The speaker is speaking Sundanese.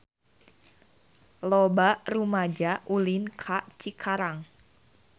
Loba rumaja ulin ka Cikarang